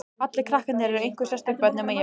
Allir krakkarnir eru einhver sérstök börn, nema ég.